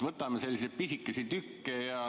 Võtame selliseid pisikesi tükke.